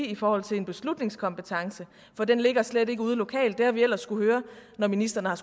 i forhold til en beslutningskompetence for den ligger slet ikke ude lokalt det har vi ellers skullet høre når ministeren har